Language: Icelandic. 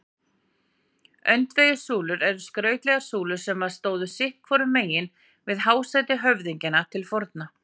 Öndvegissúlur eru skrautlegar súlur sem stóðu sitt hvorum megin við hásæti höfðingja til forna.